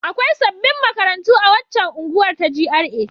Akwai sabbin makarantu a waccan unguwar ta GRA.